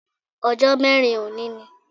Ọjó mẹ́rin òní ni